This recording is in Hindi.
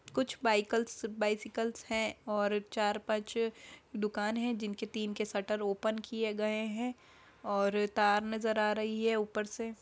कुछ बाईकल्स बाइसिकल्स हैं और चार पांच दुकान हैं जिनके तीन के शटर ओपन किये गए हैं और तार नजर आ रही है ऊपर से --